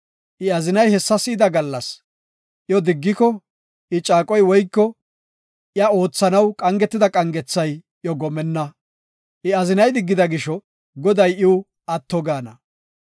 I azinay hessa si7ida gallas iyo diggiko I caaqoy woyko iya oothanaw qangetida qangethay iyo gomenna. I azinay diggida gisho Goday iw atto gaana.